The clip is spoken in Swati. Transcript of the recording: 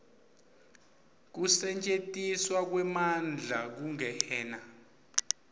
kusetjentiswa kwemandla kungena